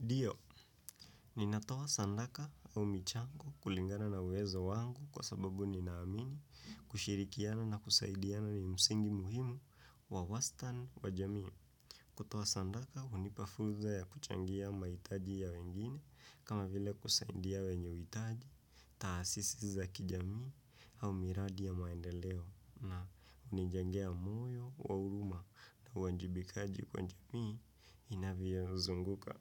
Dio, ninatowa sandaka au michango kulingana na uwezo wangu kwa sababu ninaamini kushirikiana na kusaidiana ni msingi muhimu wa wastan wa jamii. Kutowa sandaka, unipafuza ya kuchangia maitaji ya wengine kama vile kusaindia wenyeuitaji, taasisi za kijamii au miradi ya maendeleo na unijengea moyo, wauruma na wanjibikaji kwa jamii inaviyo zunguka.